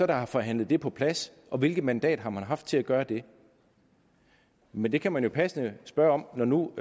der har forhandlet det på plads og hvilket mandat har man haft til at gøre det men det kan man jo passende spørge om når nu